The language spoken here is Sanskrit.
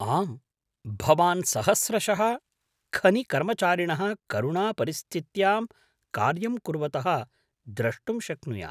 आम्, भवान् सहस्रशः खनिकर्मचारिणः करुणापरिस्थित्यां कार्यं कुर्वतः द्रष्टुं शक्नुयात्।